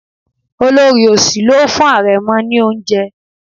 Olorì òsì ló fún arẹmọ ní oúnjẹ.